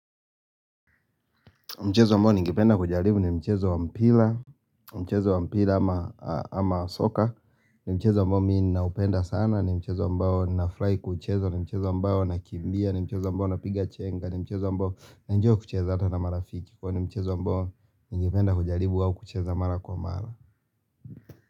Mchezo ambao ningependa kujaribu ni mchezo wa mpira. Mchezo wa mpira ama soka ni mchezo ambao mi ninaupenda sana, ni mchezo ambao ninafurahi kuicheza, ni mchezo ambao nakimbia, ni mchezo ambao napiga chenga, ni mchezo ambao naenjoy kucheza hata na marafiki. Huwa ni mchezo ambao ningependa kujaribu au kucheza mara kwa mara.